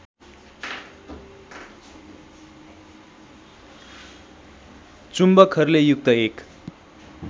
चुम्बकहरूले युक्त एक